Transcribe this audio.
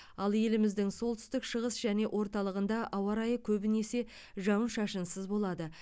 ал еліміздің солтүстік шығыс және орталығында ауа райы көбінесе жауын шашынсыз болады